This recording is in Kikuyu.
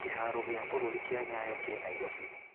Kĩharo gĩa gĩbũrũri kĩa Nyayo kĩ Nairobi.